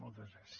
moltes gràcies